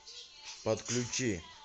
подключи